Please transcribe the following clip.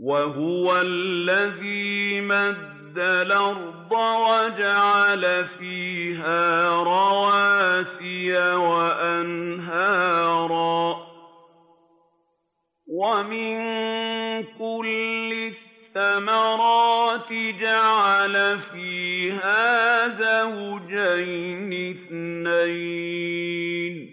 وَهُوَ الَّذِي مَدَّ الْأَرْضَ وَجَعَلَ فِيهَا رَوَاسِيَ وَأَنْهَارًا ۖ وَمِن كُلِّ الثَّمَرَاتِ جَعَلَ فِيهَا زَوْجَيْنِ اثْنَيْنِ ۖ